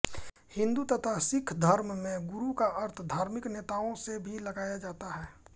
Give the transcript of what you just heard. हिन्दू तथा सिक्ख धर्म में गुरु का अर्थ धार्मिक नेताओं से भी लगाया जाता है